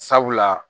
Sabula